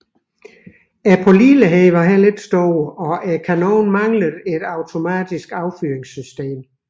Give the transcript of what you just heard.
Pålideligheden var heller ikke stor og kanonen manglede et automatisk affyringssystem